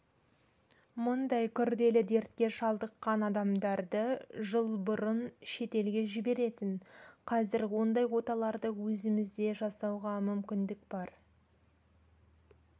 мұндай күрделі дертке шалдыққан адамдарды жыл бұрын шетелге жіберетін қазір ондай оталарды өзімізде жасауға мүмкіндік бар